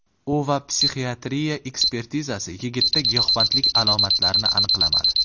U va psixiatriya ekspertizasi yigitda giyohvandlik alomatlarini aniqlamadi.